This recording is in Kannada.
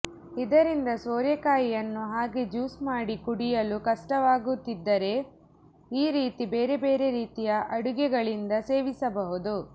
ಇದರಿಂದ ಸೋರೆಕಾಯಿಯನ್ನು ಹಾಗೆ ಜ್ಯೂಸ್ ಮಾಡಿ ಕುಡಿಯಲು ಕಷ್ಟವಾಗುತ್ತಿದ್ದರೆ ಈ ರೀತಿ ಬೇರೆ ಬೇರೆ ಪ್ರೀತಿಯ ಅಡಿಗೆಗಳಿಂದ ಸೇವಿಸಬಹುದು